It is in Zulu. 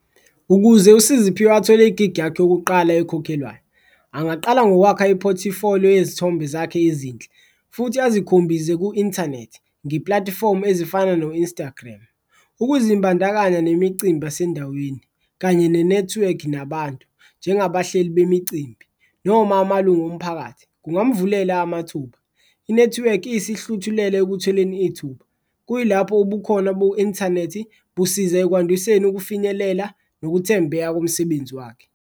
Ukuze uSiziphiwe athole igigi yakhe yokuqala ekhokhelwayo angaqala ngokwakha iphothifoliyo yezithombe zakhe ezinhle, futhi azikhombize ku-inthanethi nge-pulatifomu ezifana no-Instagram. Ukuzimbandakanya nemicimbi yasendaweni kanye nenethiwekhi nabantu, njengabahleli bemicimbi noma amalungu omphakathi kungamvulela amathuba, inethiwekhi iyisihluthulelo ekutholeni ithuba. Kuyilapho ubukhona bo-inthanethi busiza ekwandiseni ukufinyelela nokuthembeka komsebenzi wakhe.